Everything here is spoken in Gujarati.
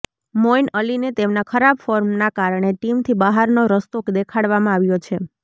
મોઈન અલીને તેમના ખરાબ ફોર્મના કારણે ટીમથી બહારનો રસ્તો દેખાડવામાં આવ્યો છે